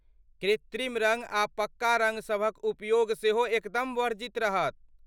कृत्रिम रँग आ पक्का रँग सभक उपयोग सेहो एकदम वर्जित रहत।